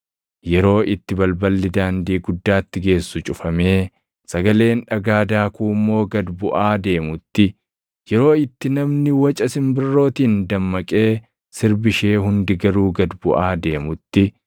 yeroo itti balballi daandii guddaatti geessu cufamee sagaleen dhagaa daakuu immoo gad buʼaa deemutti, yeroo itti namni waca simbirrootiin dammaqee sirbi ishee hundi garuu gad buʼaa deemutti,